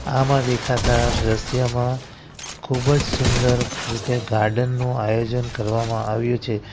આમાં દેખાતા દ્રશ્યમાં ખૂબ જ સુંદર રીતે ગાર્ડન નું આયોજન કરવામાં આવ્યું છે.